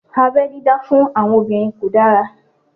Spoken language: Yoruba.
Abẹ́ dídá fún àwọn obìnrin kò dára